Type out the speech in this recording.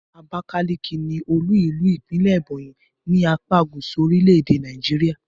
Abakaliki ni olú-ìlú ìpínlè̩ Ebonyi ní apá gúsù orílè̩-èdè Nàìjíríà